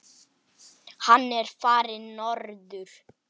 Hann er farinn norður.